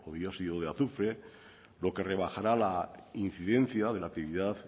o dióxido de azufre lo que rebajará la incidencia de la activad